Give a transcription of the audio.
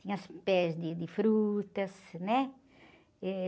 Tinha os pés de, de frutas, né? Eh...